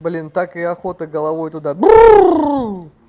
блин так и охота головой туда